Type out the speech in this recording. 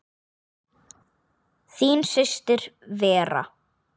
Þín systir Vera.